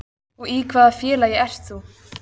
Og í hvaða félagi ert þú?